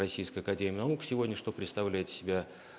российская академия наук сегодня что представляет из себя